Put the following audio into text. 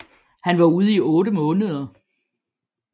Han var ude i otte måneder